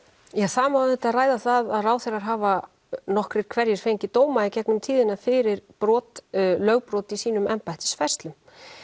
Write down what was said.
það má auðvitað ræða það að ráðherrar hafa nokkrir hverjir fengið dóma í gegnum tíðina fyrir brot lögbrot í sínum embættisfærslum